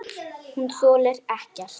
Hún þolir ekkert.